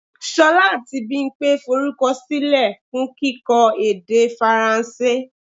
Ṣolá àti Bimpe forúkọ silẹ fún kíkọ́ èdè Faransé.